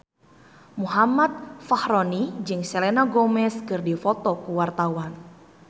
Muhammad Fachroni jeung Selena Gomez keur dipoto ku wartawan